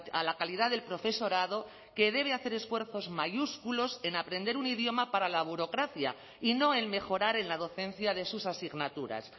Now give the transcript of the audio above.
a la calidad del profesorado que debe hacer esfuerzos mayúsculos en aprender un idioma para la burocracia y no en mejorar en la docencia de sus asignaturas